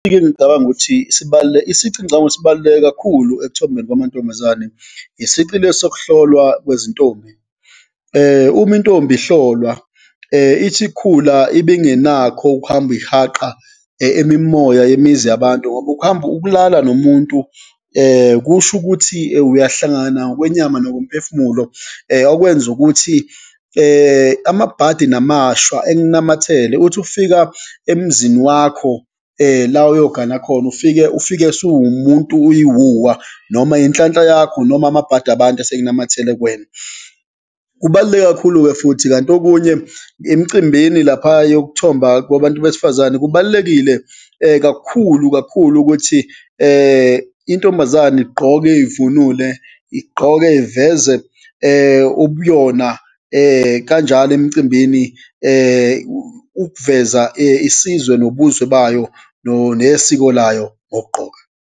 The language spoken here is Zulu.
Ngicabanga ukuthi , isici engicabanga ukuthi sibaluleke kakhulu ekuthombeni kwamantombazane, isici lesi sokuhlolwa kwezintombi. Uma intombi ihlolwa, ithi ikhula ibingenakho ukuhamba ihaqa imimoya yemizi yabantu, ngoba ukuhamba ukulala nomuntu kusho ukuthi uyahlangana kwenyama nokomphefumulo, okwenza ukuthi amabhadi namashwa ekunamathele. Uthi ufika emzini wakho la uyogana khona, ufike, ufike usuwumuntu uyiwuwa, noma inhlanhla yakho noma amabhadi abantu asekunamathele kuwena, kubaluleke kakhulu-ke futhi. Kanti okunye, emcimbini laphaya yokuthoba kwabantu besifazane, kubalulekile kakhulu kakhulu ukuthi intombazane igqoke ivunule, igqoke iveze ubuyona kanjalo emcimbini, ukuveza isizwe nobuzwe bayo nesiko layo ngokugqoka.